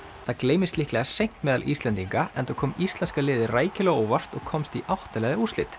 það gleymist líklega seint meðal Íslendinga enda kom íslenska liðið rækilega á óvart og komst í átta liða úrslit